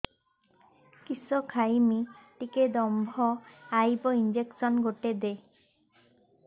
କିସ ଖାଇମି ଟିକେ ଦମ୍ଭ ଆଇବ ଇଞ୍ଜେକସନ ଗୁଟେ ଦେ